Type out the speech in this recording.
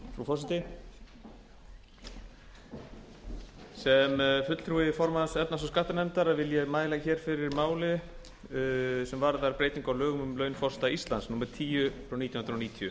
forseti sem fulltrúi formanns efnahags og skattanefndar vil ég mæla fyrir máli sem varðar breytingu á lögum um laun forseta íslands númer tíu nítján